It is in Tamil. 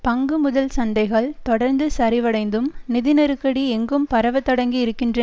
பங்கு முதல் சந்தைகள் தொடர்ந்து சரிவடைந்தும் நிதி நெருக்கடி எங்கும் பரவ தொடங்கி இருக்கிற